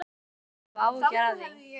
Þú skalt ekki hafa áhyggjur af því.